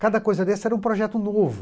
Cada coisa dessa era um projeto novo.